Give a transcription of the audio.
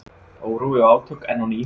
Órói og átök enn á ný